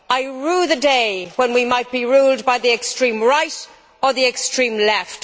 I rue the day when we might be ruled by the extreme right or the extreme left.